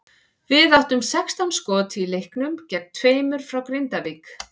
Við áttum sextán skot í leiknum gegn tveimur frá Grindavík.